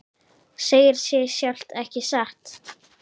Segir sig sjálft, ekki satt?